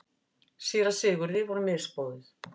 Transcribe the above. Síra Sigurði var misboðið.